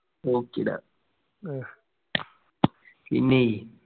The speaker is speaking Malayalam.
okay ടാ പിന്നേയ്.